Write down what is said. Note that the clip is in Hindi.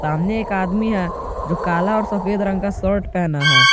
सामने एक आदमी है जो काला और सफेद रंग का शर्ट पहना है।